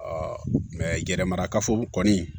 yɛrɛ marakafo kɔni